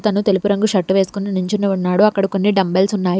అతను తెలుపు రంగు షర్ట్ వేసుకుని నించుని ఉన్నాడు అక్కడ కొన్ని డంబెల్స్ ఉన్నాయి.